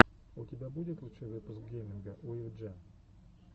у тебя будет лучший выпуск гейминга уив джен